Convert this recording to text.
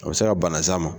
A bɛ se ka banas'a ma